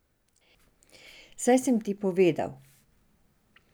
Saj sem ti povedal.